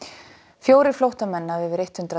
fjórir flóttamenn af yfir hundrað